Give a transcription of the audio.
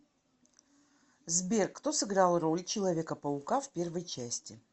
сбер кто сыграл роль человека паука в первой части